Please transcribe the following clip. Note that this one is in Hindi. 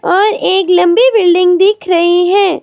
और एक लंबी बिल्डिंग दिख रही है।